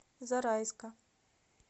зарайска